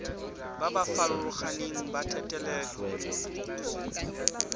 ba ba farologaneng ba thetelelobokgoni